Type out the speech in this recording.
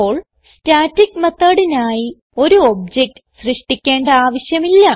ഇപ്പോൾ സ്റ്റാറ്റിക് methodനായി ഒരു ഒബ്ജക്ട് സൃഷ്ടിക്കേണ്ട ആവിശ്യമില്ല